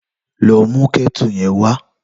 Lò mú kètú yèn wá